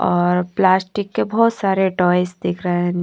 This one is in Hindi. और प्लास्टिक के बहोत सारे टॉयज दिख रहे हैं।